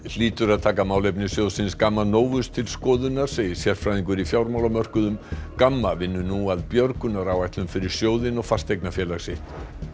hlýtur að taka málefni sjóðsins Gamma Novus til skoðunar segir sérfræðingur í fjármálamörkuðum gamma vinnur nú að fyrir sjóðinn og fasteignafélag sitt